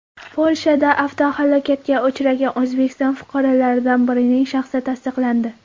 Polshada avtohalokatga uchragan O‘zbekiston fuqarolaridan birining shaxsi tasdiqlandi.